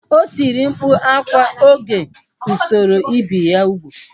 O tiri mkpu akwa oge usoro ibi ya ugwu